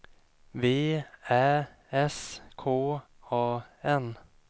V Ä S K A N